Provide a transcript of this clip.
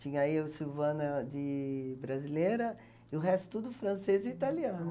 Tinha eu, Silvana, de brasileira, e o resto tudo francês e italiano.